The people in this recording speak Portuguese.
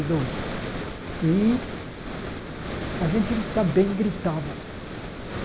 dois e a gente também gritava.